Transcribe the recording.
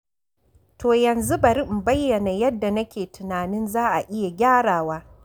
To yanzu bari in bayyana yadda nake tunanin za a iya gyarawa.